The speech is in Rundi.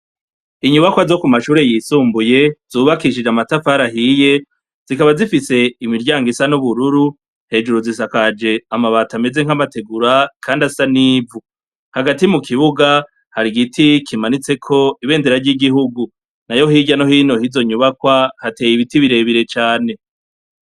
Inyubakwa zo ku mashure yisumbuye zubakishije amatafara ahiye zikaba zifise imiryango isa n'ubururu hejuru zisakaje amabata ameze nk'amategura, kandi asa n'ivu hagati mu kibuga hari igiti kimanitseko ibendera ry'igihugu na yo hirya no hinohizo nyubakwa hateye ibiti birebire cane.